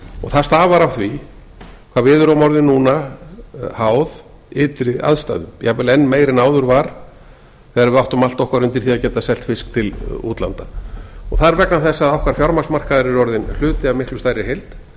og það stafar af því hvað við erum orðin núna háð ytri aðstæðum jafnvel enn meira en áður var þegar við áttum allt okkar undir því að geta selt fisk til útlanda það er vegna þess að okkar fjármagnsmarkaður er orðinn hluti af miklu stærri heild